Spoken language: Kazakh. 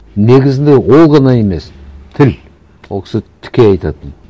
негізінде ол ғана емес тіл ол кісі тіке айтатын